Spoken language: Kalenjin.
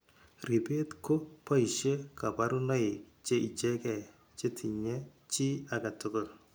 Ribet ko boishe kabarunoik che ichegee che tinye chi age tugul.